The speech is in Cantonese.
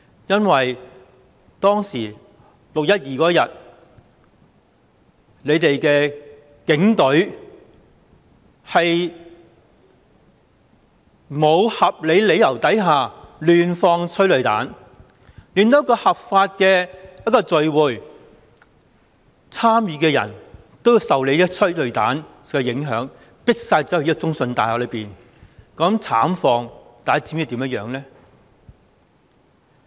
因為6月12日警隊在沒有合理理由下，胡亂施放催淚彈，令參與一個合法集會的人受到催淚彈影響，被迫走入中信大廈內，大家知道那種慘況嗎？